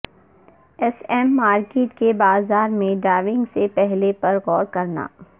S M market کے بازار میں ڈائیونگ سے پہلے پر غور کرنا